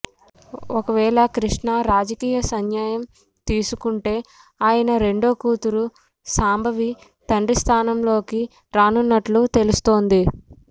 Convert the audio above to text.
ఒకవేళ కృష్ణ రాజకీయ సన్యాయం తీసుకుంటే ఆయన రెండో కూతురు శాంభవి తండ్రి స్థానంలోకి రానున్నట్లు తెలుస్తోంది